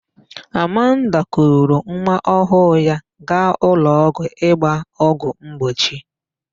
Amanda kuru nwaọhụụ ya gaa ụlọọgwụ ịgba ọgwụ mgbochi.